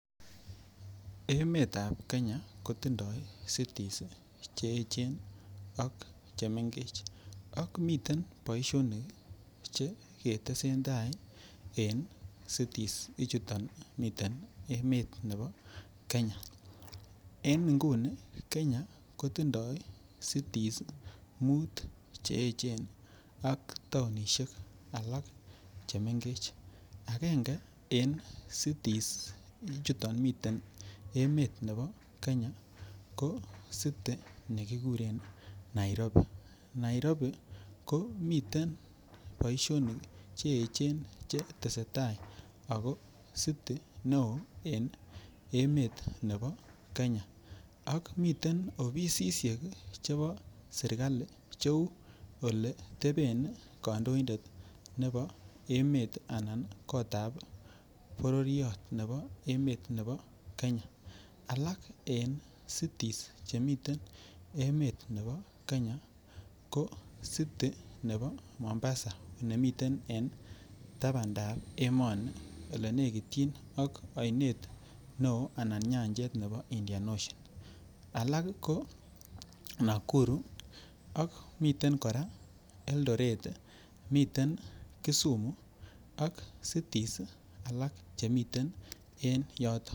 Emetab Kenya ko tindo cities Che echen ak chemengech miten ak miten boisionik Che Ke tesen tai en cities ichuto miten emet nebo Kenya en nguni Kenya ko tindoi cities muut Che echen ak taonisiek alak chemengech agenge en cities ichuto miten emet nebo Kenya ko city nekikuren Nairobi, Nairobi komiten boisionik Che echen Che tesetai ako city neo en emet nebo Kenya ak miten ofisisiek chebo sirkali Cheu Ole teben kandoindet nebo emet anan kotab bororyot nebo emet nebo Kenya alak en cities Che miten en emet nebo Kenya ko city nebo Mombasa nemiten en tabandap emoni olenekityin ak oinet neo Anan nyanjet nebo Indian Ocean alak ko Nakuru ak miten kora Eldoret miten kisumu ak cities alak Che mengech